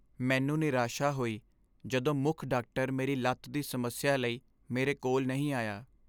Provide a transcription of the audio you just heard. ਮੈਨੂੰ ਨਿਰਾਸ਼ਾ ਹੋਈ ਜਦੋਂ ਮੁੱਖ ਡਾਕਟਰ ਮੇਰੀ ਲੱਤ ਦੀ ਸਮੱਸਿਆ ਲਈ ਮੇਰੇ ਕੋਲ ਨਹੀਂ ਆਇਆ।